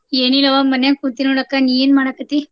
ಏನಿಲ್ಲವಾ ಮನ್ಯಾಗ್ ಕುಂತೀನ್ ನೋಡಕ್ಕ , ನೀ ಏನ್ ಮಾಡಾಕತ್ತಿ?